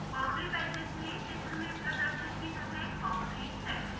boundary patches में चित्र में प्रदर्शित की तरह बॉउंड्रीज़ सेट हैं